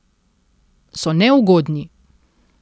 So neugodni.